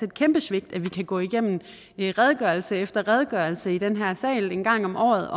et kæmpe svigt at vi kan gå igennem redegørelse efter redegørelse i den her sal en gang om året